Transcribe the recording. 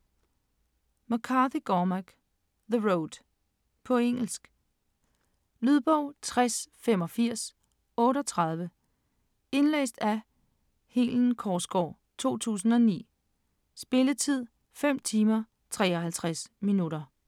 McCarthy, Cormac: The road På engelsk. Lydbog 608538 Indlæst af Helen Korsgaard, 2009. Spilletid: 5 timer, 53 minutter.